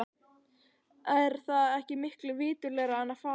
Er það ekki miklu viturlegra en að fara upp?